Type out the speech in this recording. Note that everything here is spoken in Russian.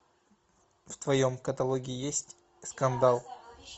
в твоем каталоге есть скандал